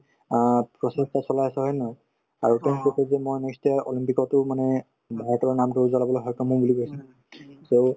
অ প্ৰচেষ্টা চলাই আছে হয় নে নহয় olympic তো মানে ভাৰতৰ নামটো উজলাবলৈ সক্ষম হম বুলি কৈছে নে so